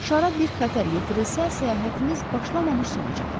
Şara bir xətər yetirilərsə, səyahətimiz başlamamış sona çatar.